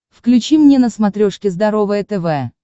включи мне на смотрешке здоровое тв